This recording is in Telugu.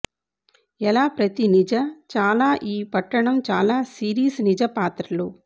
ఎలా ప్రతి నిజ చాలా ఈ పట్టణం చాలా సిరీస్ నిజ పాత్రలు